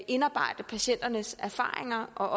indarbejde patienternes erfaringer og